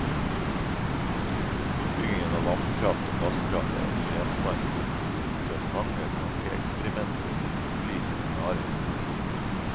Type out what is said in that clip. Utbyggingen av vannkraft og gasskraft er også gjenstand for interessante tankeeksperimenter i de ulike scenariene.